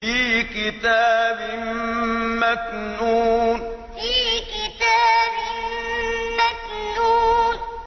فِي كِتَابٍ مَّكْنُونٍ فِي كِتَابٍ مَّكْنُونٍ